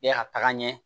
E ka taga ɲɛ